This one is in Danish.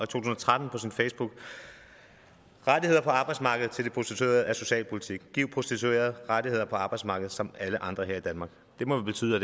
tusind og tretten på sin facebook rettigheder på arbejdsmarkedet til de prostituerede er socialpolitik og giv prostituerede rettigheder på arbejdsmarkedet som alle andre her i danmark det må vel betyde at